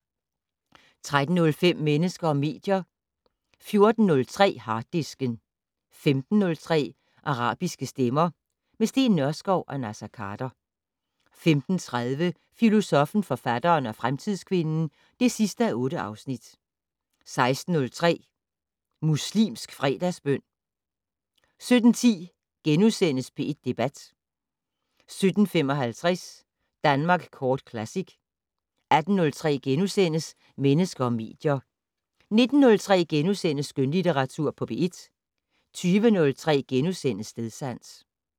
13:03: Mennesker og medier 14:03: Harddisken 15:03: Arabiske stemmer - med Steen Nørskov og Naser Khader 15:30: Filosoffen, forfatteren og fremtidskvinden (8:8) 16:03: Muslimsk Fredagsbøn 17:10: P1 Debat * 17:55: Danmark Kort Classic 18:03: Mennesker og medier * 19:03: Skønlitteratur på P1 * 20:03: Stedsans *